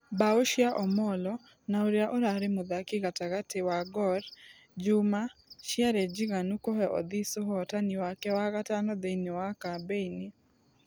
Bao cia Omollo na ũrĩa ũrarĩ mũthaki gatagatĩ wa gor juma ciarĩnjiganu kũhe odhis ũhotani wake wa gatano thĩini wa kambeini.